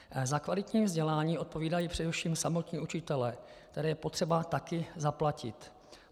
Za kvalitní vzdělání odpovídají především samotní učitelé, které je potřeba také zaplatit.